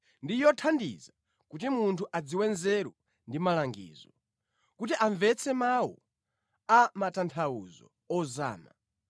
Ndi yothandiza kuti munthu adziwe nzeru ndi malangizo; kuti amvetse mawu a matanthauzo ozama;